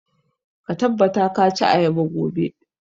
Ka tabbata ka ci ayaba gobe!